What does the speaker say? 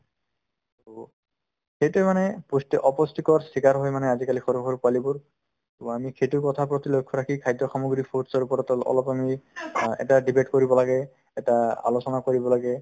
সেইটোয়ে মানে পুষ্টি অপুষ্টিকৰ চিকাৰ হৈ মানে আজিকালি সৰু সৰু পোৱালিবোৰ to আমি সেইটো কথাৰ প্ৰতি লক্ষ্য ৰাখি খাদ্য সামগ্ৰী fruits ৰ ওপৰত অল~ অলপ আমি অ এটা debate কৰিব লাগে এটা আলোচনা কৰিব লাগে